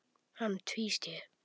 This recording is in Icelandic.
Hann tvísté.